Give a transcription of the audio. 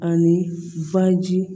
Ani baji